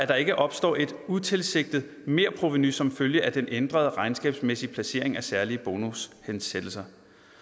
der ikke opstår et utilsigtet merprovenu som følge af den ændrede regnskabsmæssige placering af særlige bonushensættelser